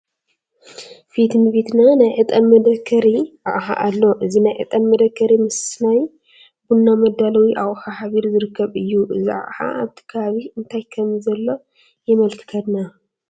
ፊት ንፊትና ናይ ዕጣን መደከሪ ኣቕሓ ኣሎ፡፡ እዚ ናይ ዕጣን መደከሪ ምስ ናይ ቡና መዳለዊ ኣቑሑ ሓቢሩ ዝርከብ እዩ፡፡ እዚ ኣቕሓ ኣብቲ ከባቢ እንታይ ከምዘሎ የመልክተና?